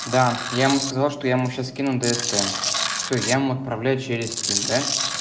да я ему сказал что я ему сейчас скину дст все я отправляю через стим да